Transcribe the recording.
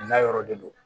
N'a yɔrɔ de do